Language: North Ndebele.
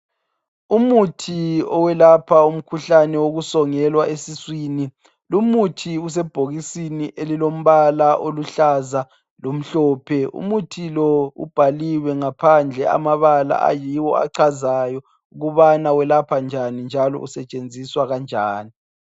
Umuthi owelapha umkhuhlane wokusongelwa esiswini. Lumuthi usebhokisini elilomba oluhlaza lomhlophe. Umuthi lo ubhaliwe ngaphandle amabala ayiwo achazayo ukubana welapha njani, njalo usetshenziswa kanjani.